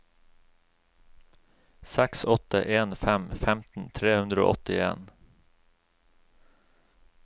seks åtte en fem femten tre hundre og åttien